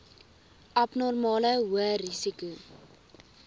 abnormale hoë risiko